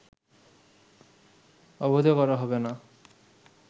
অবৈধ করা হবে না